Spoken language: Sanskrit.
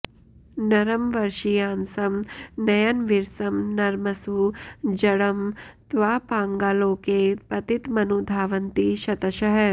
नरं वर्षीयांसं नयनविरसं नर्मसु जडं तवापाङ्गालोके पतितमनुधावन्ति शतशः